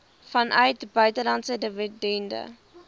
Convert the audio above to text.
vanuit buitelandse dividende